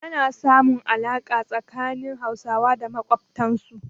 Ana samun alaƙa tsakanin Hausawa da makwabtansu.